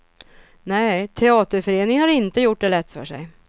Nej, teaterföreningen har inte gjort det lätt för sig.